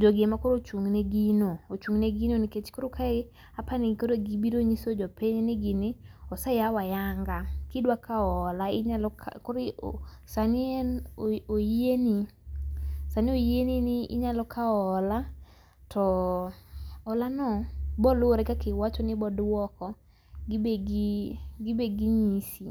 jogi ema koro ochung'ne gino ochung'ne gino nikech koro kae apani gibiro nyiso jopiny ni gini oseyau ayanga, kidwa kao ola sani en oy oyieni sani oyieni ni inyalo kao ola to ola no boluore kaka iwacho ni iboduoko gibegi gibegi ng'isi.